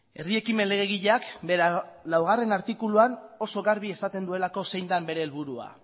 herri ekimen legegileak bere laugarren artikuluan oso garbi esaten duelako zein den bere helburua